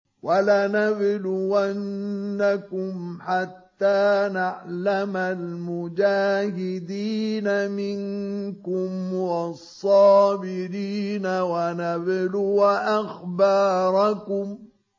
وَلَنَبْلُوَنَّكُمْ حَتَّىٰ نَعْلَمَ الْمُجَاهِدِينَ مِنكُمْ وَالصَّابِرِينَ وَنَبْلُوَ أَخْبَارَكُمْ